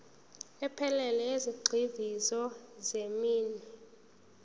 ephelele yezigxivizo zeminwe